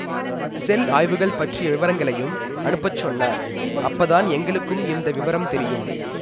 செல் ஆய்வுகள் பற்றிய விவரங்களையும் அனுப்பச் சொன்னார் அப்பதான் எங்களுக்கும் இந்த விவரம் தெரியும்